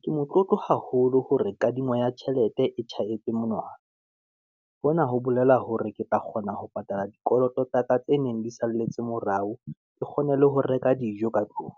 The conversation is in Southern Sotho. ke motlotlo haholo hore kadimo ya tjhelete e tjhahetse monwana. Hona ho bolela hore ke tla kgona ho patala dikoloto tsaka tse neng di salletse morao, ke kgone le ho reka dijo ka tlung.